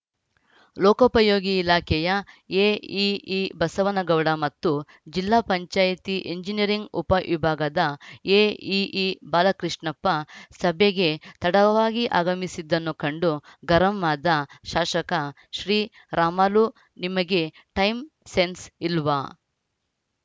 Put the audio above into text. ಲೋಕೋಪಯೋಗಿ ಇಲಾಖೆಯ ಎಇಇ ಬಸವನ ಗೌಡ ಮತ್ತು ಜಿಲ್ಲಾ ಪಂಚಾಯಿತಿ ಎಂಜಿನಿಯರಿಂಗ್‌ ಉಪವಿಭಾಗದ ಎಇಇ ಬಾಲಕೃಷ್ಣಪ್ಪ ಸಭೆಗೆ ತಡವಾಗಿ ಆಗಮಿಸಿದ್ದನ್ನು ಕಂಡು ಗರಂ ಆದ ಶಾಸಕ ಶ್ರೀರಾಮುಲು ನಿಮಗೆ ಟೈಮ್‌ ಸೆನ್ಸ್‌ ಇಲ್ವಾ